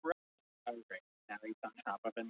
Skömmu síðar barst mikill hávaði að framan og inn til